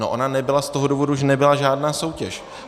No ona nebyla z toho důvodu, že nebyla žádná soutěž.